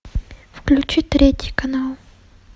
включи третий канал